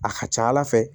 A ka ca ala fɛ